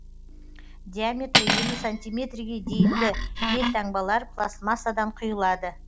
диаметрі елу сантиметрге дейінгі елтаңбалар пластмассадан құйылады